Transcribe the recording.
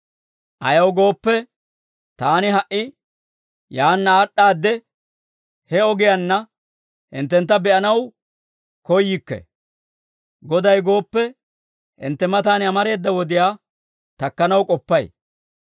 Ayaw gooppe, taani ha"i yaanna aad'd'aadde he ogiyaanna hinttentta be'anaw koyyikke. Goday gooppe, hintte matan amareeda wodiyaa takkanaw k'oppay.